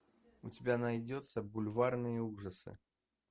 у тебя найдется бульварные ужасы